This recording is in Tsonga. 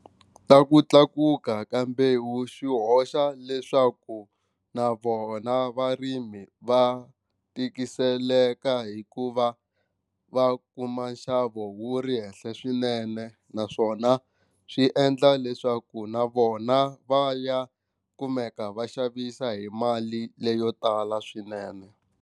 Ta ku tlakuka ka mbewu swi hoxa leswaku na vona varimi va tikiseleka hikuva va kuma nxavo wu ri henhla swinene naswona swi endla leswaku na vona va ya kumeka va xavisa hi mali leyo tala swinene.